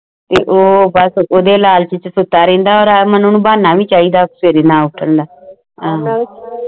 ਓਹ ਬਸ ਓਹਦੇ ਲਾਲਚ ਵਿੱਚ ਸੁਤਾ ਰਹਿੰਦਾ ਹੈ ਮਨੁ ਨੂ ਬਹਾਨਾ ਵੀ ਸ਼ੈਦਾ ਸਵੇਰੇ ਨਾ ਉਥਾਨ ਦਾ